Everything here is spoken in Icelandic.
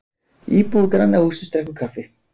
íbúi græna hússins drekkur kaffi